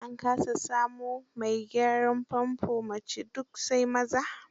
An kasa samo mai gyaran famfo mace, duk sai maza.